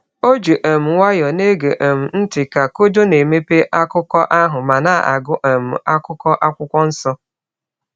O ji um nwayọọ na-ege um ntị ka Kojo na-emepe akụkọ ahụ ma na-agụ um akụkụ Akwụkwọ Nsọ.